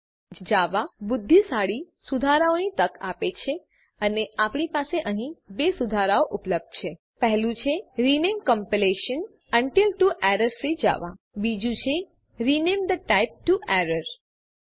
Eclipse બુદ્ધિશાળી સુધારાઓની તક આપે છે અને આપણી પાસે અહીં 2 સુધારાઓ ઉપલબ્ધ છે પહેલું છે rename compilation unit to error free Java બીજું છે rename the type to error